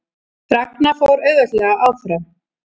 Ragna fór auðveldlega áfram